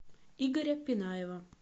игоря пинаева